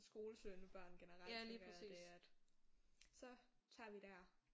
Skolesøgende børn generelt tænker jeg det at så tager vi der